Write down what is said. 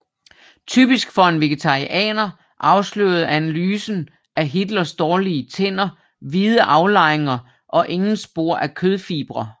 Typisk for en vegetarianer afslørede analysen af Hitlers dårlige tænder hvide aflejringer og ingen spor af kødfibre